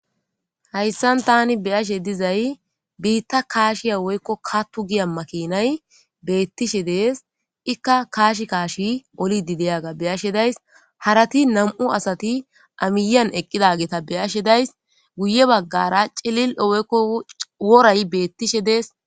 hayssan tani beyashshe dizay biitta kashshiya woykko katto giya makinay beettishshe de'ees ikka kashshi kashshi ollidi diiyagda beyashe days harati nam'u asatti aa miiyan eqqidageta beyashshe days guye baggara ciilillo woykko woray beettishshe dees